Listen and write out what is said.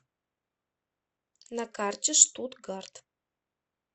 на карте штутгарт